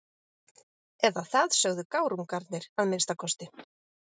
Eða það sögðu gárungarnir að minnsta kosti.